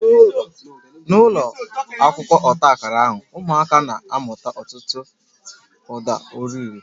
N'ụlọ akwụkwọ ọta akara ahụ, ụmụaka na-amụta ọtụtụ uda ọrịre